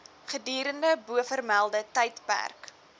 gedurende bovermelde tydperk